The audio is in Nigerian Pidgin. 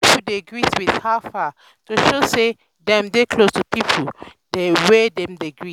some pipo dey greet with "how far?" to show sey dem dey close to pipo wey dem dey greet.